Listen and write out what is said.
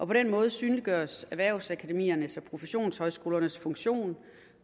på den måde synliggøres erhvervsakademiernes og professionshøjskolernes funktion